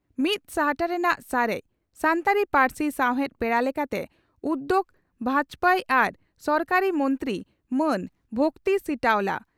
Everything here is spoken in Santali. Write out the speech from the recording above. ᱢᱤᱛ ᱥᱟᱦᱴᱟ ᱨᱮᱱᱟᱜ ᱥᱟᱨᱮᱡ ᱹᱹᱹᱹᱹ ᱾ᱥᱟᱱᱛᱟᱲᱤ ᱯᱟᱹᱨᱥᱤ ᱥᱟᱣᱦᱮᱫ ᱯᱮᱲᱟ ᱞᱮᱠᱟᱛᱮ ᱩᱫᱭᱚᱜᱽ ᱵᱷᱟᱵᱡᱭᱚ ᱟᱨ ᱥᱚᱦᱚᱠᱟᱨᱤ ᱢᱚᱱᱛᱨᱤ ᱢᱟᱹᱱ ᱵᱷᱚᱠᱛᱤ ᱥᱤᱴᱟᱣᱞᱟ